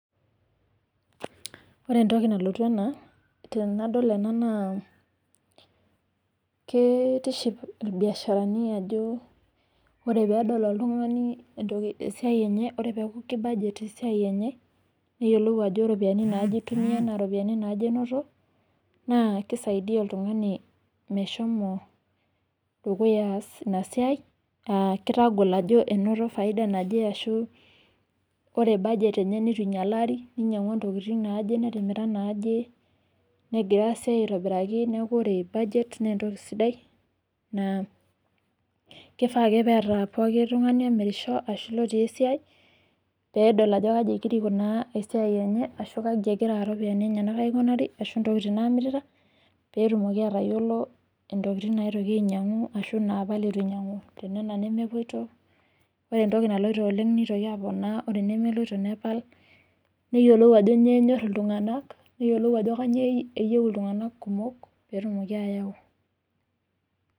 Ore entoki nalotu tena tenadol ena naa kitiship mbiasharani ajo ore pee dol oltung'ani esiaai enye peeku kibajet esiaai enye neyiolou ajo iropiyiani naaja itumia naa iropiyiani naaje enoto, naa kisaidia oltung'ani meshomo dukuya ina siaai aa kitagol ajo enoto faida naje ashuu ore budget neitu inyalari ninyang'ua ntokitin naaje netimira naaje negira sii aitobiraki, neeku ore budget naa entoki sidai keifaa ake pee eeta pooki tung'ani omirisho ashuu oota esiaai pee edol ajo kaji egira aikunaa esiaai enye ashu kaji egira iropiyiani enyena aaikunari ashuu ntokitin naamirita peetumoki atayiolo naainyiang'u ashuu naapal eitu inyang'u. Ore entoki naloito oleng nitoki aponaa ore enemelo, nipal neyiolou ajo kanyioo enyorr iltung'anak, neyiolou ajo kanyioo eyieu iltung'anak kumok pee etumoki ayau.